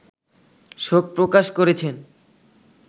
শোক প্রকাশ করেছেন